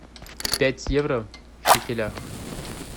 пять евро в шекелях